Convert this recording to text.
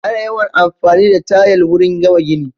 Ana yawan amfani da tayal wurin gama gini